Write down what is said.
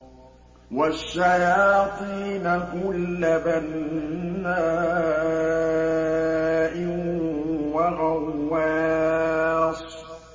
وَالشَّيَاطِينَ كُلَّ بَنَّاءٍ وَغَوَّاصٍ